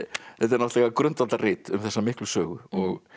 náttúrulega grundvallarrit um þessa miklu sögu og